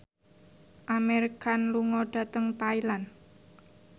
Amir Khan lunga dhateng Thailand